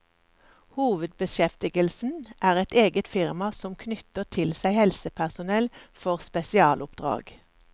Hovedbeskjeftigelsen er et eget firma som knytter til seg helsepersonell for spesialoppdrag.